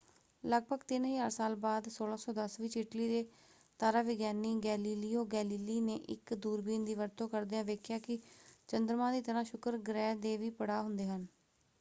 ਲਗਭਗ ਤਿੰਨ ਹਜ਼ਾਰ ਸਾਲ ਬਾਅਦ 1610 ਵਿੱਚ ਇਟਲੀ ਦੇ ਤਾਰਾ ਵਿਗਿਆਨੀ ਗੈਲੀਲੀਓ ਗੈਲੀਲੀ ਨੇ ਇੱਕ ਦੂਰਬੀਨ ਦੀ ਵਰਤੋਂ ਕਰਦਿਆਂ ਵੇਖਿਆ ਕਿ ਚੰਦਰਮਾ ਦੀ ਤਰ੍ਹਾਂ ਸ਼ੁੱਕਰ ਗ੍ਰਹਿ ਦੇ ਵੀ ਪੜਾਅ ਹੁੰਦੇ ਹਨ।